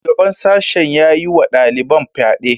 Shugaban sashen ya yi wa daliban fyade.